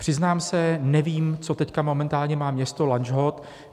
Přiznám se, nevím, co teď momentálně má město Lanžhot.